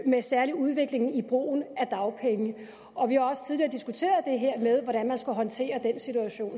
med særlig udviklingen i brugen af dagpenge og vi har også tidligere diskuteret det her med hvordan man skal håndtere den situation